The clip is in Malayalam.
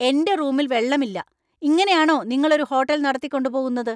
എന്‍റെ റൂമിൽ വെള്ളമില്ല! ഇങ്ങനെയാണോ നിങ്ങൾ ഒരു ഹോട്ടൽ നടത്തിക്കൊണ്ടു പോകുന്നത് ?